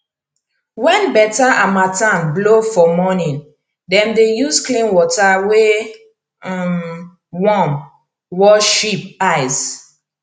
when better harmattan blow for morning dem dey use clean water wey um warm wash sheep eyes